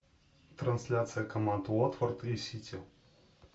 трансляция команд уотфорд и сити